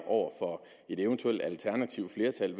over for et eventuelt alternativt flertal